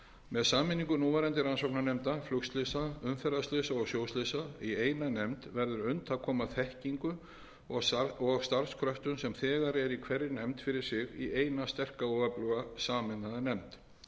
með sameiningu núverandi rannsóknarnefnda flugslysa umferðarslysa og sjóslysa í eina nefnd verður unnt að koma þekkingu og starfskröftum sem þegar eru í hverri nefnd fyrir sig í eina og sterka öfluga sameinaða nefnd